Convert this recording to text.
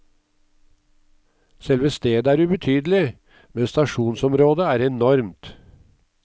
Selve stedet er ubetydelig, men stasjonsområdet er enormt.